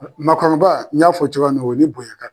Al maakɔrɔba n y'a fɔ cogoya min na o ni bonya ka